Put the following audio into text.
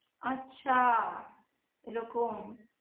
আচ্ছা এরকম